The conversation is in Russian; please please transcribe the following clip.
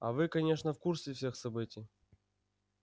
а вы конечно в курсе всех событий